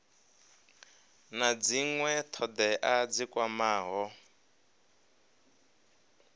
na dzinwe thodea dzi kwamaho